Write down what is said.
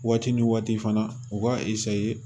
Waati ni waati fana u b'a